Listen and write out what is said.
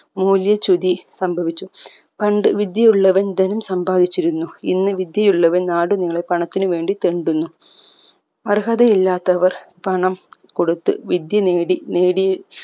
മൂല്യ ചുതി സംഭവിച്ചു പണ്ട് വിദ്യ ഉള്ളവൻ ധനം സമ്പാധിച്ചിരുന്നു ഇന്ന് വിദ്യ ഉള്ളവൻ നാടുനീളെ പണത്തിന്ന് വേണ്ടി തെണ്ടുന്നു അർഹത ഇല്ലാത്തവർ പണം കൊടുത്ത് വിദ്യ നേടി നേടി